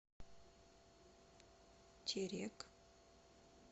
терек